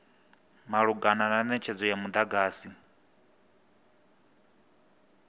malugana na netshedzo ya mudagasi